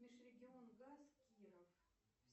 межрегионгаз киров